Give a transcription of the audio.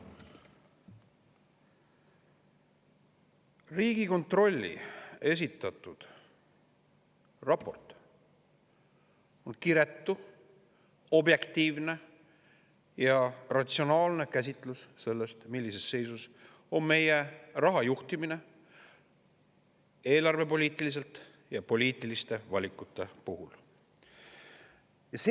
Riigikontrolli esitatud raport on kiretu, objektiivne ja ratsionaalne käsitlus sellest, millises seisus on meie raha juhtimine eelarvepoliitiliselt ja poliitiliste valikute puhul.